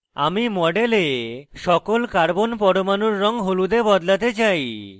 আমি model সকল carbon পরমাণুর রঙ হলুদে বদলাতে চাই